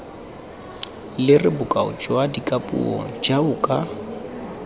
lere bokao jwa dikapuo jaoka